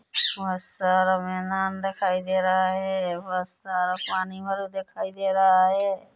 बहुत सारा मेदान दिखाई दे रहा है बहुत सारा पानी भरो दिखाई दे रहा है।